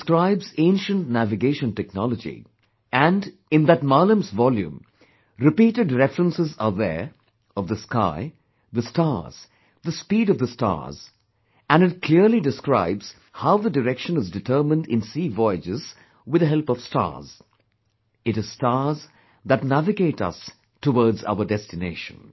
It describes ancient navigation technology, and that 'Maalam's volume' repeatedly references, the sky, the stars, the speed of the stars, and clearly describes how the direction is determined in sea voyages with the help of stars; it is stars that navigate us towards our destination